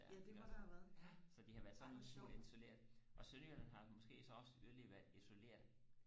der iggås så de har været sådan en lille smule isoleret og sønderjylland har måske så også yderligere været isoleret